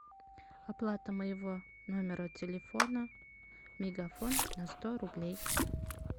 оплата моего номера телефона мегафон на сто рублей